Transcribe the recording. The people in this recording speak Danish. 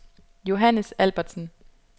Johannes Albertsen